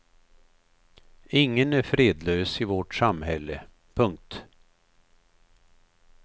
Ingen är fredlös i vårt samhälle. punkt